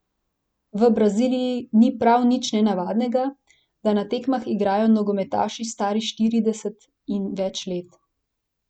V Braziliji ni prav nič nenavadnega, da na tekmah igrajo nogometaši stari štirideset in več let.